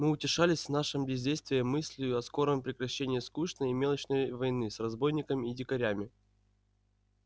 мы утешались в нашем бездействии мыслию о скором прекращении скучной и мелочной войны с разбойниками и дикарями